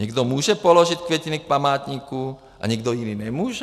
Někdo může položit květiny k památku a někdo jiný nemůže?